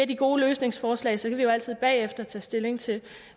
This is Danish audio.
de gode løsningsforslag så kan vi jo altid bagefter tage stilling til